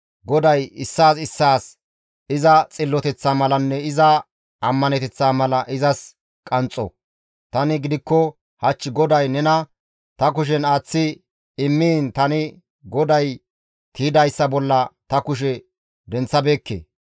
GODAY issaas issaas iza xilloteththa malanne iza ammaneteththaa mala izas qanxxo; tani gidikko hach GODAY nena ta kushen aaththi immiin tani GODAY tiydayssa bolla ta kushe denththabeekke.